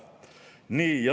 Nii.